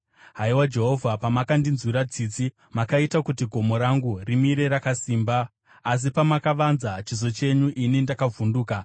Haiwa Jehovha, pamakandinzwira tsitsi, makaita kuti gomo rangu rimire rakasimba; asi pamakavanza chiso chenyu, ini ndakavhunduka.